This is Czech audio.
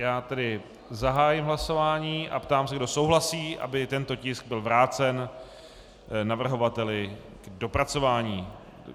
Já tedy zahájím hlasování a ptám se, kdo souhlasí, aby tento tisk byl vrácen navrhovateli k dopracování.